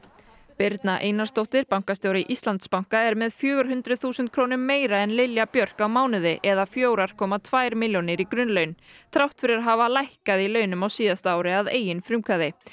birna Einarsdóttir bankastjóri Íslandsbanka er með fjögur hundruð þúsund krónum meira en Lilja Björk á mánuði eða fjóra komma tvær milljónir í grunnlaun þrátt fyrir að hafa lækkað í launum á síðasta ári að eigin frumkvæði